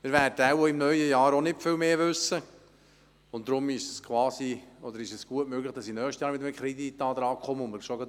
Wir werden wohl im neuen Jahr auch nicht mehr wissen, und so ist es gut möglich, dass ich bereits im nächsten Jahr wieder mit einem Kreditantrag in den Rat kommen muss.